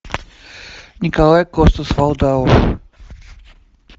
николай костер вальдау